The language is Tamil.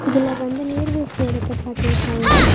இதுல வந்து நீர்வீழ்ச்சி எடத்த காட்டிருக்காங்க.